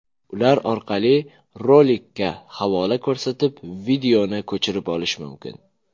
Ular orqali rolikka havola ko‘rsatib videoni ko‘chirib olish mumkin.